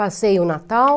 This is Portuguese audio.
Passei o Natal.